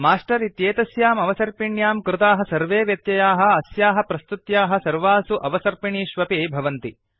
master इत्येतस्याम् अवसर्पिण्यां कृताः सर्वे व्यत्ययाः अस्याः प्रस्तुत्याः सर्वासु अवसर्पिणीषु भवन्ति